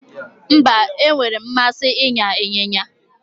Mba, enwere m mmasi ịnya ịnyịnya